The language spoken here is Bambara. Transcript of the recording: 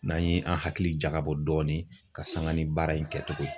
N'an ye an hakili jagabɔ dɔɔnin ka sanga ni baara in kɛtogo ye